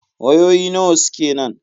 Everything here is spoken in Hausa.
Wayoyi nawa suke nan?